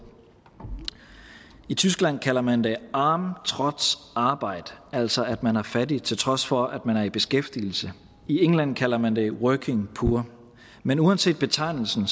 i tyskland kalder man det arm trotz arbeit altså at man er fattig til trods for at man er i beskæftigelse i england kalder man det working poor men uanset betegnelsen